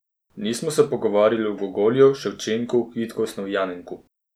Nismo se pogovarjali o Gogolju, Ševčenku, Kvitku Osnovjanenku.